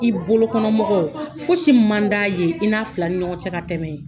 I bolokɔnɔmɔgɔw fosi man d'a ye i n'a fila ni ɲɔgɔn cɛ ka tɛmɛ